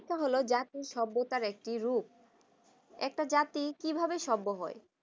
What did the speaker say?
শিক্ষা হলো জাতির সভ্যতার একটি রূপ একটা জাতি কিভাবে সম্ভব হয়